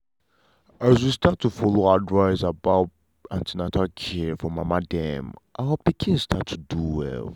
as we start to follow advice about an ten atal care for mama dem our pikin start to do well.